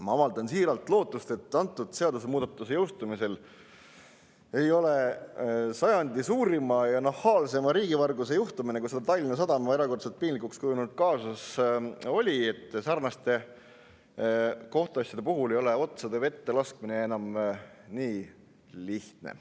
Ma avaldan suurt lootust, et nende seadusemuudatuste jõustumisel ei ole sarnaste kohtuasjade puhul, nagu oli sajandi suurima ja nahaalseima riigivarguse juhtumi, Tallinna Sadama erakordselt piinlikuks kujunenud kaasuse menetlus, otsade vette laskmine enam nii lihtne.